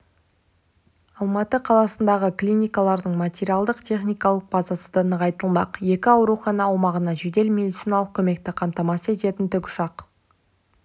алматы қаласындағы клиникалардың материалдық-техникалық базасы да нығайтылмақ екі аурухана аумағынан жедел медициналық көмекті қамтамасыз ететін тікұшақ